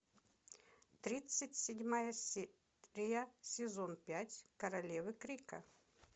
тридцать седьмая серия сезон пять королевы крика